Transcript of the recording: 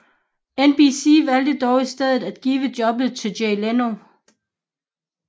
NBC valgte dog i stedet at give jobbet til Jay Leno